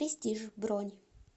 престиж бронь